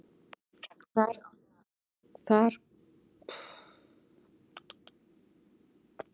Þar kólnar fljótt og loft getur misst flot og fallið niður í þurrara loft.